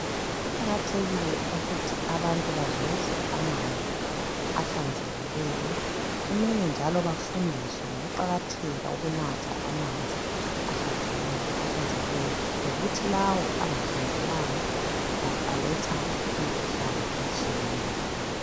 Kuqakathekile ukuthi abantu bazuze amanzi ahlanzekileyo. Kumele njalo bafundiswe ngokuqakatheka ukunatha amanzi ahlanzekileyo lokuthi lawo angahlanzekanga aletha imikhuhlane etshiyeneyo